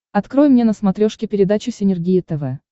открой мне на смотрешке передачу синергия тв